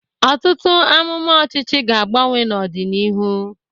Ọtụtụ amụma ọchịchị ga-agbanwe n'ọdịnihu.